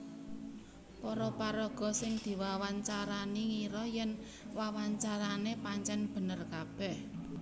Para paraga sing diwawancarani ngira yèn wawancarané pancèn bener kabèh